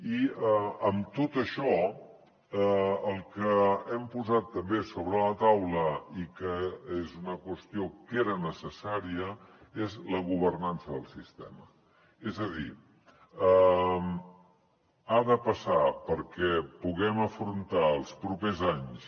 i amb tot això el que hem posat també sobre la taula i que és una qüestió que era necessària és la governança del sistema és a dir ha de passar perquè puguem afrontar els propers anys